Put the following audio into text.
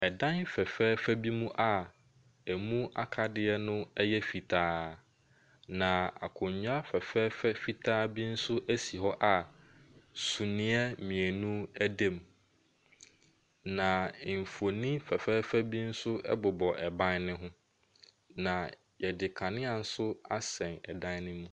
Ɛdan fɛfɛɛfɛ bi mu a ɛmu akadeɛ no yɛ fitaa, na akonnwa fɛfɛɛfɛ fitaa bi nso si hɔ a sumiiɛ mmienu da mu, na mfonin fɛfɛɛfɛ bi nso bobɔ ban no ho, na wɔde kanea nso sɛn dan no mu.